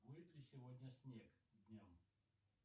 будет ли сегодня снег днем